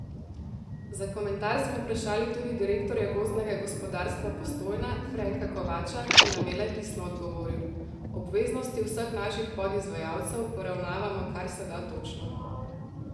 Za komentar smo vprašali tudi direktorja Gozdnega gospodarstva Postojna, Frenka Kovača, ki nam je le pisno odgovoril: 'Obveznosti vseh naših podizvajalcev poravnavamo karseda točno.